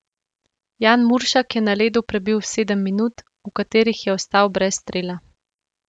Jan Muršak je na ledu prebil sedem minut, v katerih je ostal brez strela.